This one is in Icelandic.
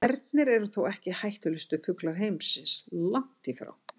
Ernir eru þó ekki hættulegustu fuglar heimsins, langt í frá.